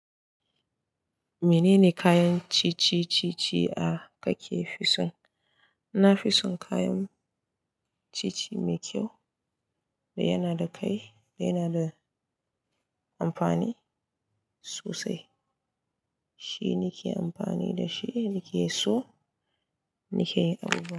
Menene kayan ciye ciye da kake fisun? Na fisun kayan ciye ciye mai kyau da yana da kai yana da amfani sosai. Shi nake amfani da shi, ni ke so ni ke yin abubuwa.